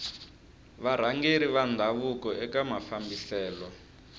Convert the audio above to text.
varhangeri va ndhavuko eka mafambiselo